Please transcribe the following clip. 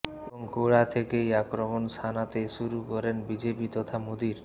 এবং গোড়া থেকেই আক্রমণ শানাতে শুরু করেন বিজেপি তথা মোদীর